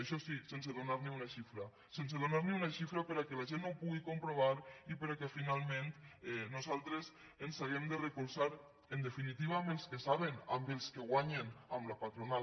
això sí sense donar ni una xifra sense donar ni una xifra perquè la gent no ho pugui comprovar i perquè finalment nosaltres ens hàgim de recolzar en definitiva en els que saben en els que guanyen en la patronal